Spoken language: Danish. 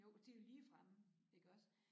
Jo det jo lige fremme iggås